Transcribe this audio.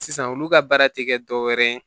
Sisan olu ka baara tɛ kɛ dɔwɛrɛ ye